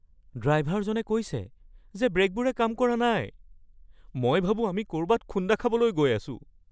ড্ৰাইভাৰজনে কৈছে যে ব্ৰে'কবোৰে কাম কৰা নাই। মই ভাবো আমি ক’ৰবাত খুন্দা খাবলৈ গৈ আছো।